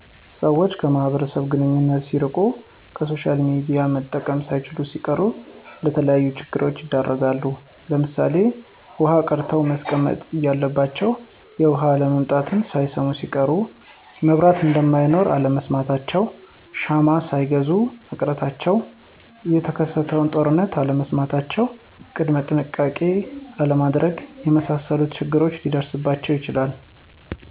ሰወች ከማህበረሰቡ ግንኙነት ሲርቂ፣ ከሶሻልሚዲያ መጠቀም ሳይችሉሲቀሩ ለተለያዩ ችግሮች ይዳረጋሉ ለምሳሌ ዉሀቀድተዉመስቀመጥ እያለባቸዉ የዉሀአለምጣትን ሳይሰሙሲቀሩ፣ መብራት እነደማይኖር አለመስማታቸዉ ሻማሳይገዙ መቅረታቸዉ፣ የተከሰተንጦርነት አለመስማታቸዉ ቅድመጥንሸቃቄ አለማድረግ የመሳሰሉት ችግር ሊደርስባቸዉ ይችላል።